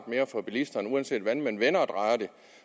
mere for bilisterne uanset hvordan man vender